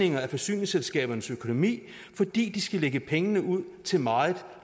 forsyningsselskabernes økonomi fordi de skal lægge pengene ud til meget